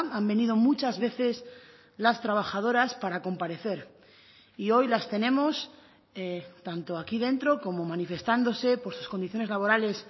han venido muchas veces las trabajadoras para comparecer y hoy las tenemos tanto aquí dentro como manifestándose por sus condiciones laborales